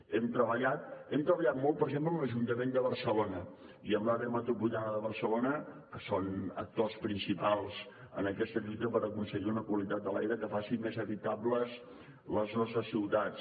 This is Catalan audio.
hem treballat molt per exemple amb l’ajuntament de barcelona i amb l’àrea metropolitana de barcelona que són actors principals en aquesta lluita per aconseguir una qualitat de l’aire que faci més habitables les nostres ciutats